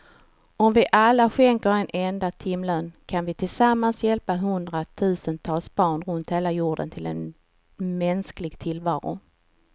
Om vi alla skänker en enda timlön kan vi tillsammans hjälpa hundratusentals barn runt hela jorden till en mänsklig tillvaro.